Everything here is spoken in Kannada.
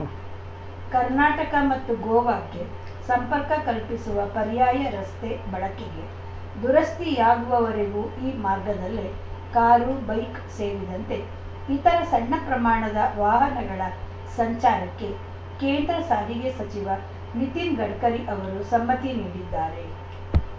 ಉಂ ಕರ್ನಾಟಕ ಮತ್ತು ಗೋವಾಕ್ಕೆ ಸಂಪರ್ಕ ಕಲ್ಪಿಸುವ ಪರ್ಯಾಯ ರಸ್ತೆ ಬಳಕೆಗೆ ದುರಸ್ತಿಯಾಗುವವರೆಗೂ ಈ ಮಾರ್ಗದಲ್ಲೇ ಕಾರು ಬೈಕ್‌ ಸೇರಿದಂತೆ ಇತರ ಸಣ್ಣ ಪ್ರಮಾಣದ ವಾಹನಗಳ ಸಂಚಾರಕ್ಕೆ ಕೇಂದ್ರ ಸಾರಿಗೆ ಸಚಿವ ನಿತಿನ್‌ ಗಡ್ಕರಿ ಅವರು ಸಮ್ಮತಿ ನೀಡಿದ್ದಾರೆ